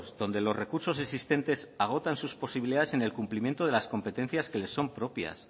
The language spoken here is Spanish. donde los recursos existentes agotan sus posibilidades en el cumplimiento de las competencias que le son propias